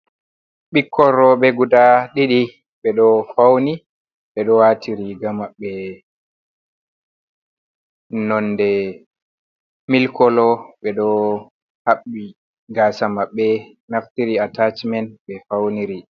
Ɓikkon rowɓe guda ɗiɗi ɓe ɗo fauni, ɓe ɗo wati riga maɓɓe nonde mil kolo, ɓe ɗo haɓɓi gasa maɓɓe naftiri atachimen me fauniri.